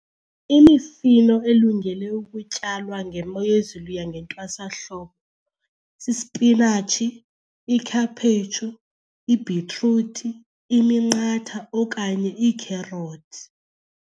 Imifino elungele ukutyalwa ngemo yezulu yangentwasahlobo sispinatshi, ikhaphetshu, ibhitruthi, iminqatha okanye iikherothi.